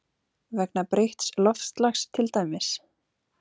Vegna breytts loftslags til dæmis?